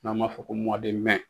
N'an b'a fɔ ko